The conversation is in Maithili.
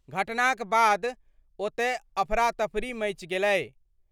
घटनाक बाद ओतय अफरातफरी मचि गेलै।